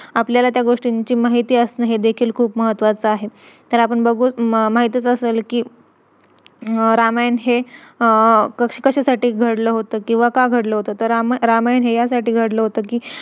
अ आपलं ninty thousand to twenty thousand salary होती तिकड तिकड त्यांनी असं त्या बहाने नी आम्हाला म्हणजे लालच देऊन ninteen thousand twenty thousand. बोलवलं तीथ.